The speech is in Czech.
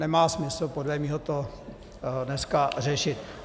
Nemá smysl podle mého to dneska řešit.